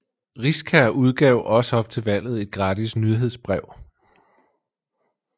Riskær udgav også op til valget et gratis nyhedsbrev